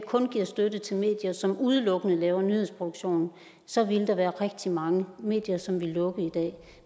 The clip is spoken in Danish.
kun gav støtte til medier som udelukkende laver nyhedsproduktion så ville der være rigtig mange medier som ville lukke